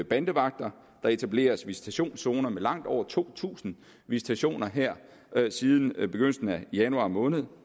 bandevagter og der er etableret visitationszoner med langt over to tusind visitationer her siden begyndelsen af januar måned